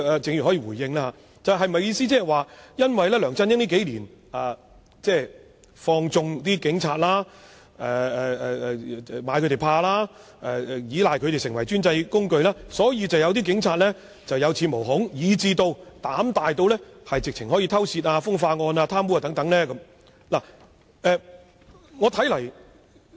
鄭議員是否認為，梁振英數年來放縱或懼怕警員，以及倚賴他們作為專制的工具，導致有些警員有恃無恐，甚至膽大至干犯刑事罪行，包括盜竊、風化及貪污等？